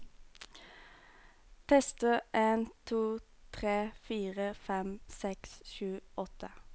Tester en to tre fire fem seks sju åtte